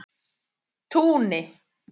Túni